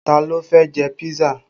Ta ló fẹ́ jẹ písà?